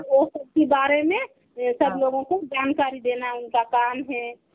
এনে সব Hindi.